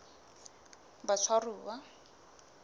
batshwaruwa